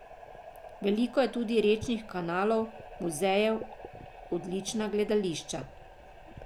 Veliko je tudi rečnih kanalov, muzejev, odlična gledališča.